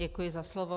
Děkuji za slovo.